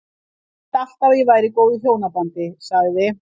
Ég hélt alltaf að ég væri í góðu hjónabandi- sagði